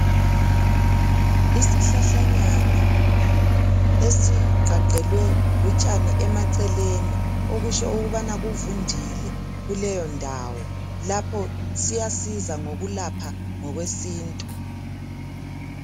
Isihlahlanyana esigqagqelwe lutshani emaceleni okutsho ukubana kuvundile kuleyondawo lapho siyasiza ngokulapha ngokwesintu.